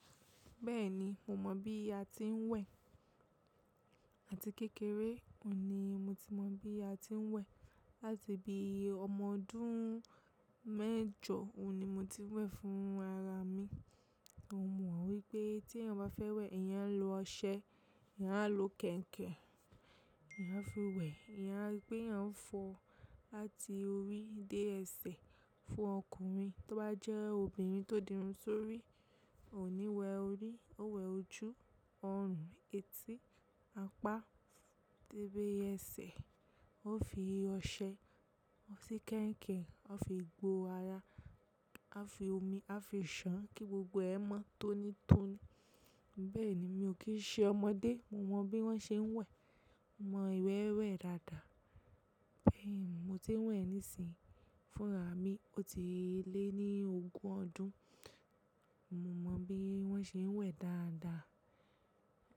Bẹ́ẹ̀ni, mo mọ̀ bí a ti ń wẹ̀ àti kékeré òní mo ti mọ̀ bí a ti ń wẹ̀. Láti bí i ọmọ ọdún mẹ́jọ òní mo ti ń wẹ̀ fún ara mi. Mo mọ̀ wípé tí ẹ bá fẹ́ wẹ̀, ìyá ń lo ọṣẹ, ìyá ń lo kẹ̀ǹkẹ̀, ìyá ń fi wẹ̀, ìyá pé a ń fọ láti orí dé ẹsẹ̀ fún ọkùnrin. Tó bá jẹ́ obìnrin tó dirun sórí, ò ní wẹ orí, ó wẹ ojú, ọrùn, etí, apá dẹ́bẹ́ ẹsẹ̀. Ó fi ọṣẹ, ó fi kẹ̀ǹkẹ̀, ó fi gbo ara, ó fi omi, ó fi ìṣàn kí gbogbo ẹ̀ mọ́ tónítóní. Bẹ́ẹ̀ni, mi ò kí ṣe ọmọdé, mo mọ bí wọ́n ṣe ń wẹ̀. Mo mọ ìwẹ́wẹ̀ dáadáa. Bẹ́ẹ̀ni, mo ti ń wẹ̀ nísìí fún ara mi, ó ti lé ní ogún ọdún. Mo mọ bí wọ́n ṣe ń wẹ̀ dáadáa.